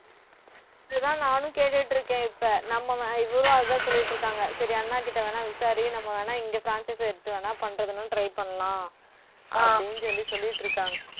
இதுதான் நானும் கேட்டுட்டு இருக்கேன் இப்ப நம்ம இவரும் அதான் சொல்லிட்டு இருக்காங்க சரி அண்ணாகிட்ட வேணா விசாரி நம்ம வேணா இங்க franchise எடுத்து வேணா பண்றதுன்னு try பண்ணலாம் அப்படின்னு சொல்லி சொல்லிட்டு இருக்காங்க